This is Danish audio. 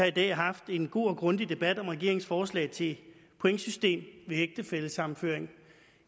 i dag har haft en god og grundig debat om regeringens forslag til et pointsystem ved ægtefællesammenføring